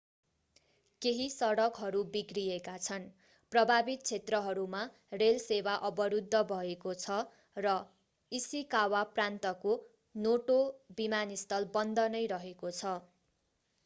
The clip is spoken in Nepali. केही सडकहरू बिग्रिएका छन् प्रभावित क्षेत्रहरूमा रेल सेवा अवरूद्ध भएको छ र इशिकावा प्रान्तको नोटो विमानस्थल बन्द नै रहेको छ